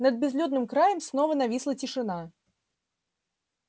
над безлюдным краем снова нависла тишина